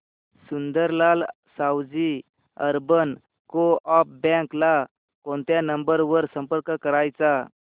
Sundarlal Sawaji urban coop bank ला कोणत्या number वर संपर्क करायचा